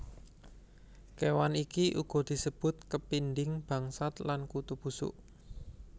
Kéwan iki uga disebut kepinding bangsat lan Kutu busuk